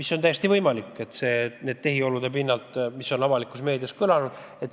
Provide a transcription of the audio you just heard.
See on täiesti võimalik, kui otsustada nende tehiolude järgi, mis on avalikust meediast läbi käinud.